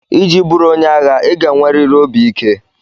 Iji bụrụ onye agha, ị ga-enwerịrị obi ike.